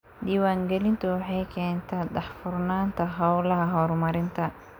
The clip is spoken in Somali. Diiwaangelintu waxay keentaa daahfurnaanta hawlaha horumarinta.